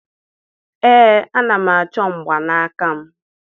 Ee, ana m achọ mgbanaka m